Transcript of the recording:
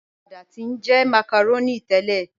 Awàdà ti njẹ́ macaroni tẹlẹ.